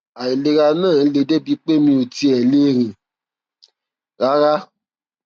àìlera náà le débi pé mi ò tiẹ lè rìn rárá